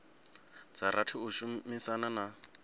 dza rathi u shumana na